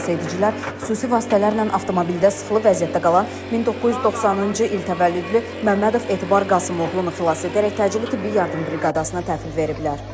Xilasedicilər xüsusi vasitələrlə avtomobildə sıxılı vəziyyətdə qalan 1990-cı il təvəllüdlü Məmmədov Etibar Qasım oğlunu xilas edərək təcili tibbi yardım briqadasına təhvil veriblər.